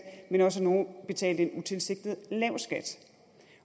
men også at nogle betalte en utilsigtet lav skat